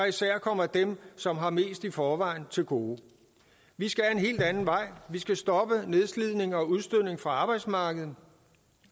især kommer dem som har mest i forvejen til gode vi skal en helt anden vej vi skal stoppe nedslidningen og udstødningen fra arbejdsmarkedet